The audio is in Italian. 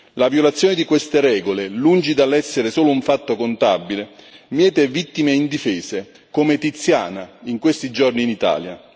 La violazione di queste regole, lungi dall'essere solo un fatto contabile, miete vittime indifese, come Tiziana in questi giorni in Italia.